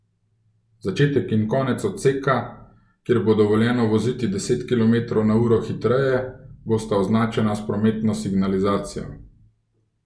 Začetek in konec odseka, kjer bo dovoljeno voziti deset kilometrov na uro hitreje, bosta označena s prometno signalizacijo.